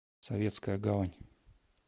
советская гавань